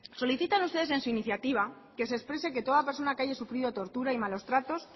solicitan ustedes en su iniciativa que se exprese que toda persona que haya sufrido tortura y malos tratos